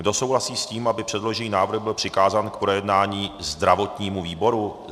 Kdo souhlasí s tím, aby předložený návrh byl přikázán k projednání zdravotnímu výboru?